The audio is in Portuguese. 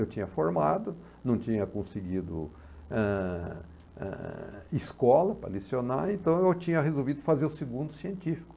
Eu tinha formado, não tinha conseguido, eh, eh, escola para licionar, então eu tinha resolvido fazer o segundo científico.